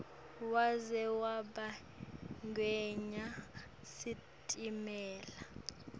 waze wabagwinya sitimela